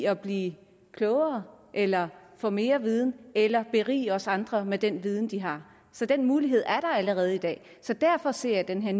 at blive klogere eller få mere viden eller berige os andre med den viden de har så den mulighed er der allerede i dag så derfor ser jeg den her